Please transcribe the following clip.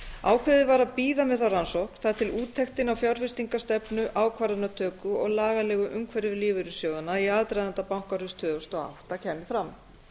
ákveðið var að bíða með þá rannsókn þar til úttektin á fjárfestingarstefnu ákvarðanatöku og lagalegu umhverfi lífeyrissjóðanna í aðdraganda bankahruns tvö þúsund og átta kæmi fram